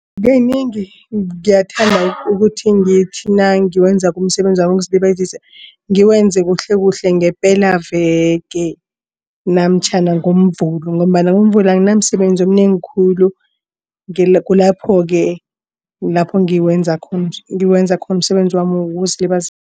Kanengi ngiyathanda ukuthi ngithi nangiwenzako umsebenzi wokuzilibazisa ngiwenze kuhlekuhle ngepelaveke namtjhana ngoMvulo ngombana ngoMvulo anginamsebenzi omnengi khulu. Kulapho-ke lapho ngiwenza khona ngiwenza khona umsebenzi wami